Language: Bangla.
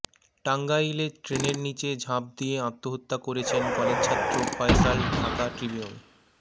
টাঙ্গাইলে ট্রেনের নিচে ঝাঁপ দিয়ে আত্মহত্যা করেছেন কলেজছাত্র ফয়সাল ঢাকা ট্রিবিউন